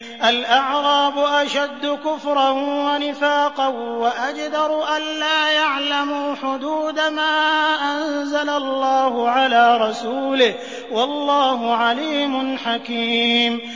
الْأَعْرَابُ أَشَدُّ كُفْرًا وَنِفَاقًا وَأَجْدَرُ أَلَّا يَعْلَمُوا حُدُودَ مَا أَنزَلَ اللَّهُ عَلَىٰ رَسُولِهِ ۗ وَاللَّهُ عَلِيمٌ حَكِيمٌ